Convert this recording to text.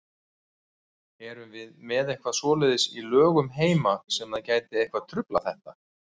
Erum við með eitthvað svoleiðis í lögum heima sem að gæti eitthvað truflað þetta?